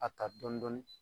A ka dɔn dɔni